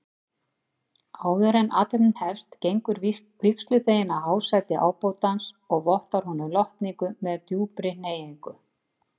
Áðuren athöfnin hefst gengur vígsluþeginn að hásæti ábótans og vottar honum lotningu með djúpri hneigingu.